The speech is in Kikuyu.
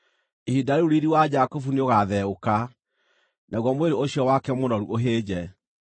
“Ihinda rĩu riiri wa Jakubu nĩ ũgaatheũka; naguo mwĩrĩ ũcio wake mũnoru ũhĩnje.